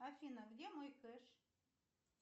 афина где мой кэш